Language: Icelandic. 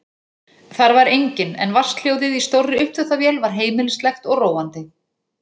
Þar var enginn en vatnshljóðið í stórri uppþvottavél var heimilislegt og róandi.